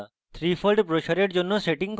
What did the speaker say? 3fold ব্রোসরের জন্য setting করা